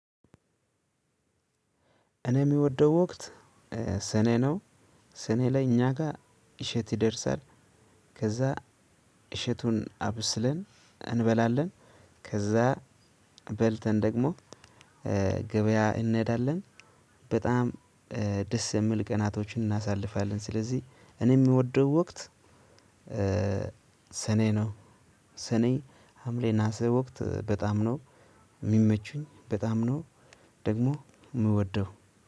እኔ የምወደው ወቅት ሰኔ ነው። ሰኔ ላይ እኛ ጋር እሸት ይደርሳል። ከዛ እሸቱን አብስለን እንበላለን። ከዛ በልተን ደግሞ ገበያ እንሄዳለን። በጣም ደስ የሚል ቀናቶችን እናሳልፋለን። ስለዚህ እኔ የምወደው ወቅት ሰኔ ነው። ሰኔ ሀምሌ ነሀሴ ወቅት በጣም ነው የሚመቹኝ በጣም ነው። ደግሞ የምወደው